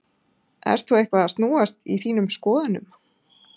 Ert þú eitthvað að snúast í þínum skoðunum?